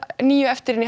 níu eftir inni í